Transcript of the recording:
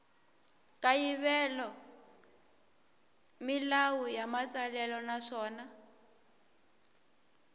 kayivela milawu ya matsalelo naswona